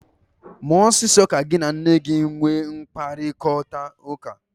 Mee ọsịsọ ka gị na nne gi nwee mkparịkọtaụka!